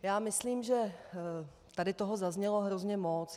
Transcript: Já myslím, že tady toho zaznělo hrozně moc.